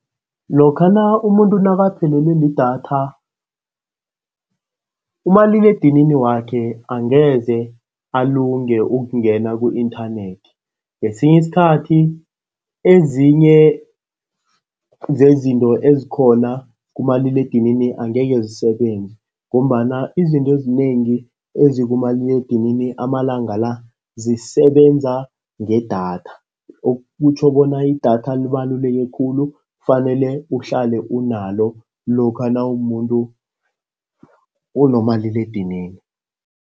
Lokha umuntu nakaphelelwe lidatha, umaliledinini wakhe angeze alunge ukungena ku-inthanethi. Ngesinye isikhathi ezinye zezinto ezikhona kumaliledinini angeke zisebenze ngombana izinto ezinengi ezikumaliledinini amalanga la zisebenza ngedatha. Okutjho bona idatha libaluleke khulu, kufanele uhlale unalo lokha nawumumuntu onomaliledinini.